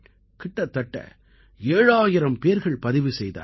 கிட்டத்தட்ட 7000 பேர்கள் பதிவு செய்தார்கள்